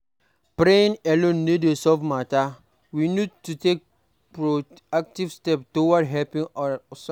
Praying alone no dey solve matter, we need to take proactive step towards helping ourself